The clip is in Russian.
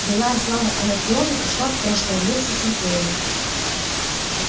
былая слава анакреона ушла в прошлое вместе с империей